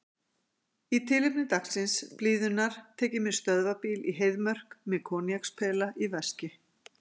Í tilefni dagsins, blíðunnar, tek ég mér stöðvarbíl í Heiðmörk, með koníakspela í veski.